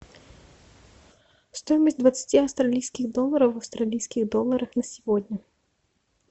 стоимость двадцати австралийских долларов в австралийских долларах на сегодня